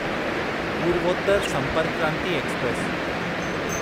Purvottar Sampark Kranti express